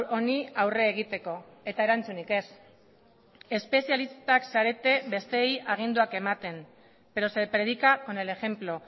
honi aurre egiteko eta erantzunik ez espezialistak zarete besteei aginduak ematen pero se predica con el ejemplo